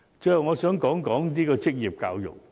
最後，我想說說職業教育。